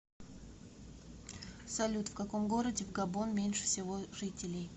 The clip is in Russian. салют в каком городе в габон меньше всего жителей